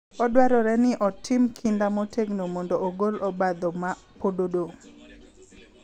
Odwarore ni otim kinda motegno mondo ogol obadho ma pod odong’,